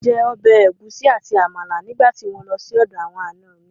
Mo jẹ ọbẹ̀ ẹ̀gúsí àti Àmàlà nígbà tí mo lọ sí ọ̀dọ̀ àwọn ànọ mi